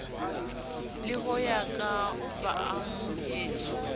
le ho ya ka baamohedi